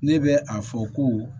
Ne bɛ a fɔ ko